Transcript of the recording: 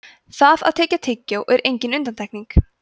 það að tyggja tyggjó er engin undantekning